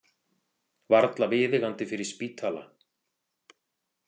Varla viðeigandi fyrir spítala.